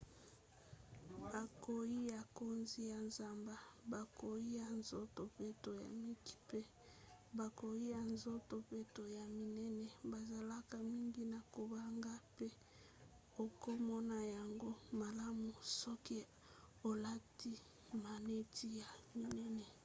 bankoi ya nkozi ya zamba bankoi ya nzoto peto ya mike mpe bankoi ya nzoto peto ya minene bazalaka mingi na kobanga mpe okomona yango malamu soki olati maneti ya minene